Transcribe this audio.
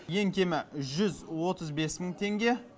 ең кемі жүз отыз бес мың теңге